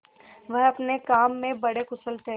वह अपने काम में बड़े कुशल थे